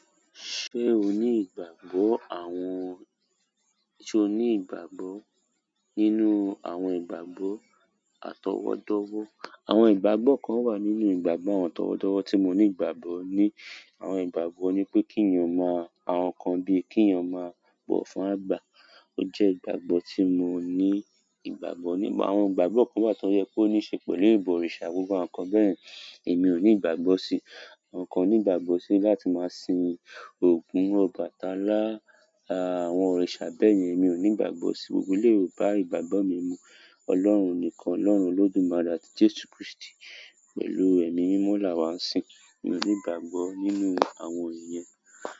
Ṣé o ní ìgbàgbọ́ àwọn, ṣe o ní ìgbàgbọ́ nínú àwọn ìgbàgbọ́ àtọwọ́dowo. Àwọn ìgbàgbọ́ kan wà nínú ìgbàgbọ́ àtọwọ́dọwọ́ tí mo ní ìgbàgbọ́ ní. Àwọn ìgbàgbọ́ ni pé kí èeyàn ma, àwọn nǹkan bíi kí èeyàn máa bọ̀ fún àgbà. Ó jẹ́ ìgbàgbọ́ tí mo ní ìgbàgbọ́ ní. Àwọn ìgbàgbọ́ kan wà tó yẹ kó ní kan ṣe pẹ̀lú ìbọ̀rìṣà, gbogbo àwọn nǹkan bẹ́ẹ̀yen, ẹmi ò ní ìgbàgbọ́ sí. Kan ní ìgbàgbọ́ sí láti máa sin ògún, Ọbàtálá àwọn òrìṣà bẹ́ẹ̀yẹn, èmi ò ní ìgbàgbọ́ sí. Gbogbo eleyi o bá ìgbàgbọ́ mi mu. Ọlọ́run nìkan, ọlọ́run Olodumare àti jesu kristi, pẹ̀lú emi mimo la wa n sin. Mi ò ní ìgbàgbọ́ nínú àwọn iyen.